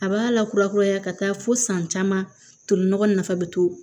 A b'a lakura kuraya ka taa fo san caman tolinɔgɔ nafa bi to